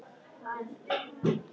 Ég er fimmtán ára.